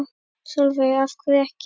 Sólveig: Af hverju ekki?